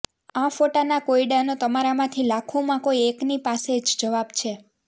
આ ફોટાના કોયડાનો તમારા માંથી લાખોમાં કોઈ એકની પાસે જ જવાબ છે